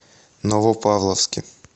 новопавловске